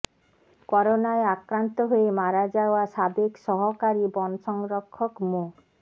করোনায় আক্রান্ত হয়ে মারা যাওয়া সাবেক সহকারী বন সংরক্ষক মো